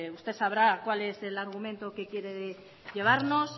pues usted sabrá cuál es el argumento que quiere llevarnos